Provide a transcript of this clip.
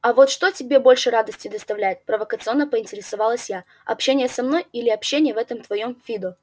а вот что тебе больше радости доставляет провокационно поинтересовалась я общение со мной или общение в этом твоём фидо